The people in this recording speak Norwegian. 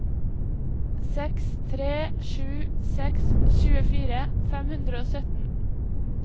seks tre sju seks tjuefire fem hundre og sytten